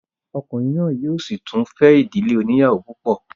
Ọkùnrin náà yóò sì tún fẹ́ ìdílé oníyàwó púpọ̀